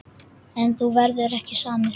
En þú verður ekki samur.